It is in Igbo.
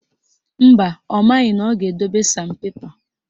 Mba, ọ maghị na ọ ga-edobe San pepa